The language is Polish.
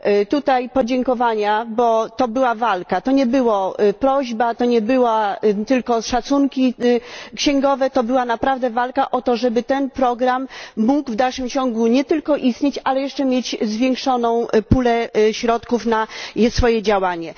Tutaj podziękowania, bo to była walka, to nie była prośba, to nie były tylko szacunki księgowe, to była naprawdę walka o to, żeby ten program mógł w dalszym ciągu nie tylko istnieć, ale jeszcze mieć zwiększoną pulę środków na swoje działanie.